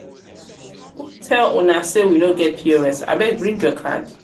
who tell una sey we no get pos? abeg bring your card.